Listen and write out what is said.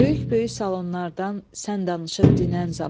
Böyük-böyük salonlardan sən danışıb dinən zaman.